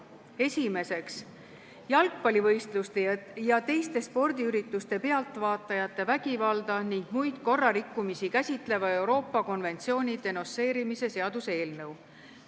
Esiteks, jalgpallivõistluste ja teiste spordiürituste pealtvaatajate vägivalda ning muid korrarikkumisi käsitleva Euroopa konventsiooni denonsseerimise seaduse eelnõu.